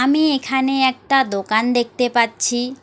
আমি এখানে একটা দোকান দেখতে পাচ্ছি।